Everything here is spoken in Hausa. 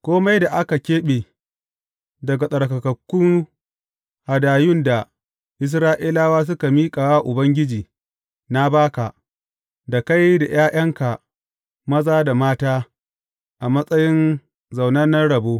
Kome da aka keɓe daga tsarkakakku hadayun da Isra’ilawa suka miƙa wa Ubangiji, na ba ka, da kai da ’ya’yanka maza da mata a matsayin zaunannen rabo.